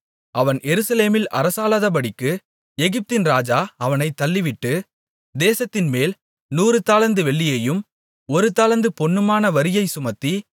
அவன் எருசலேமில் அரசாளாதபடிக்கு எகிப்தின் ராஜா அவனைத் தள்ளிவிட்டு தேசத்தின்மேல் நூறு தாலந்து வெள்ளியும் ஒரு தாலந்து பொன்னுமான வரியைச் சுமத்தி